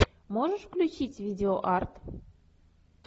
можешь включить видео арт